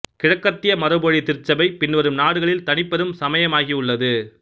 கிழக்கத்திய மரபுவழி திருச்சபை பின்வரும் நாடுகளில் தனிப் பெரும் சமயமாகவுள்ளது